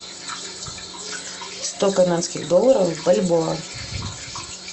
сто канадских долларов в бальбоа